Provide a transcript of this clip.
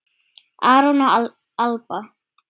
Aron og Alba.